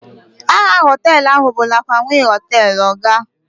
aha họtelu a bụ lakanwi hotel, oga